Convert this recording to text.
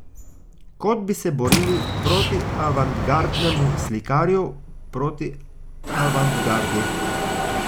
Kot bi se borili proti avantgardnemu slikarju, proti avantgardi.